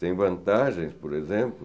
Tem vantagens, por exemplo,